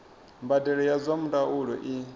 mbadelo ya zwa ndaulo i